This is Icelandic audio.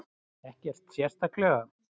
Ekkert sérstaklega.